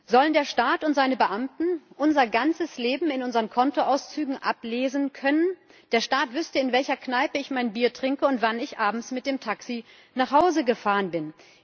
Sollen der Staat und seine Beamten unser ganzes Leben in unseren Kontoauszügen ablesen können? Der Staat wüsste, in welcher Kneipe ich mein Bier trinke und wann ich abends mit dem Taxi nach Hause gefahren bin.